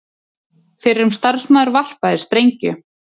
Fyrrum starfsmaður varpaði sprengju